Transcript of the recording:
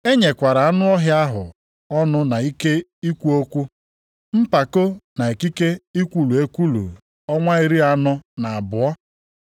E nyekwara anụ ọhịa ahụ ọnụ na ike ikwu okwu mpako na ikike ikwulu ekwulu ọnwa iri anọ na abụọ.